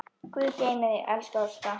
Guð geymi þig, elsku Ásta.